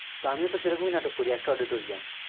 তো আমি ও তো সে রকম নাটক করি একটা auditourium